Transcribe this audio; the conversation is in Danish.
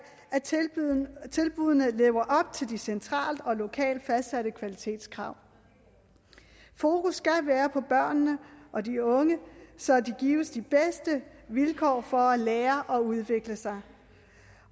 at tilbuddene lever op til de centralt og lokalt fastsatte kvalitetskrav fokus skal være på børnene og de unge så de gives de bedste vilkår for at lære og udvikle sig